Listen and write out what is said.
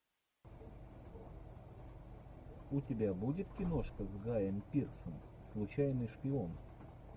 у тебя будет киношка с гаем пирсом случайный шпион